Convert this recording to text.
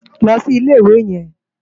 Ló si Ilé Iwé yèn